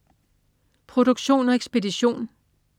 Produktion og ekspedition: